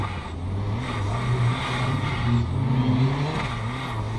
Kalluunku wuxuu caawiyaa ilaalinta deegaanka nadiifka ah.